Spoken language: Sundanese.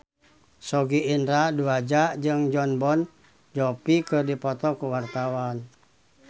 Sogi Indra Duaja jeung Jon Bon Jovi keur dipoto ku wartawan